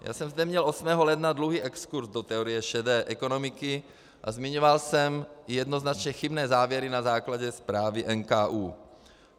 Já jsem zde měl 8. ledna druhý exkurs do teorie šedé ekonomiky a zmiňoval jsem jednoznačně chybné závěry na základě zprávy NKÚ.